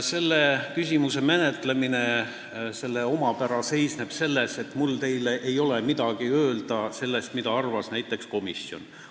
Selle küsimuse menetlemise omapära seisneb selles, et mul ei ole teile midagi öelda selle kohta, mida arvas näiteks komisjon.